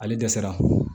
Ale dɛsɛra